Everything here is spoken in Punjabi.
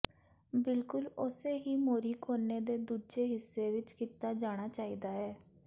ਬਿਲਕੁਲ ਉਸੇ ਹੀ ਮੋਰੀ ਕੋਨੇ ਦੇ ਦੂਜੇ ਹਿੱਸੇ ਵਿੱਚ ਕੀਤਾ ਜਾਣਾ ਚਾਹੀਦਾ ਹੈ